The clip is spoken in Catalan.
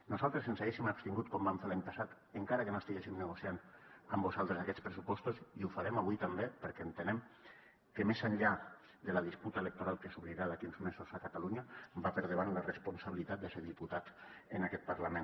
nosaltres ens hauríem abstingut com vam fer l’any passat encara que no estiguéssim negociant amb vosaltres aquests pressupostos i ho farem avui també perquè entenem que més enllà de la disputa electoral que s’obrirà d’aquí uns mesos a catalunya va per davant la responsabilitat de ser diputat en aquest parlament